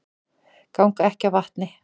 Ganga ekki á vatni